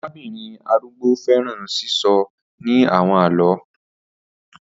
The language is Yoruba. Arabinrin arugbo fẹran sisọ ni awọn àlọ